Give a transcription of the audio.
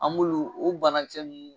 An m'olu o banakisɛ nunnu